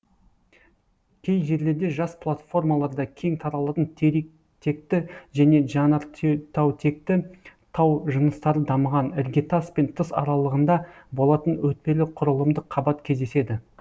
кей жерлерде жас платформаларда кең таралатын территекті және жанартаутекті тау жыныстары дамыған іргетас пен тыс аралығында болатын өтпелі құрылымдық қабат кездеседі